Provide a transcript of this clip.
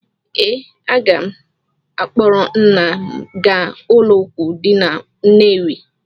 Ee, aga m akpọrọ nna m gaa ụlọọgwụ dị na Nnewi.